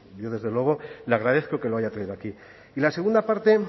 yo desde luego le agradezco que lo haya traído aquí y la segunda parte